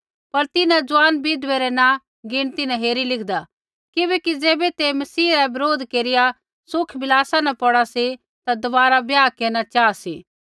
पर तिन्हां ज़ुआन विधवै रै नाँ गिणती न हेरी लिखदा किबैकि ज़ैबै ते मसीह रा बरोध केरिया सुख विलासा न पौड़ा सी ता दबारा ब्याह केरना चाहा सी